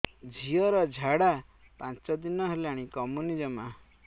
ଝିଅର ଝାଡା ପାଞ୍ଚ ଦିନ ହେଲାଣି କମୁନି ଜମା